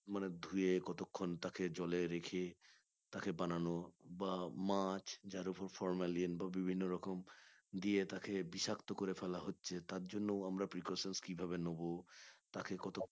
মানে ধুয়ে কতক্ষণ তাকে জলে রেখে তাকে বানানো বা মাছ যার ওপর formalion বা বিভিন্ন রকম দিয়ে থাকে বিষাক্তকরে ফেলা হচ্ছে তার জন্য আমরা precautions কিভাবে নেব তাকে কতক্ষণ